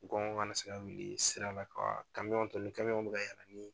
wili sira la kamiyɔn kamiyɔn bɛ ka yɛlɛ ni